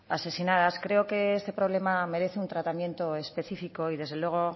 asesinadas creo que este problema merece un tratamiento específico y desde luego